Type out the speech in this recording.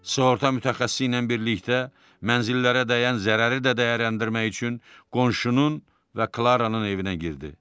Sığorta mütəxəssisi ilə birlikdə mənzillərə dəyən zərəri də dəyərləndirmək üçün qonşunun və Klaranın evinə girdi.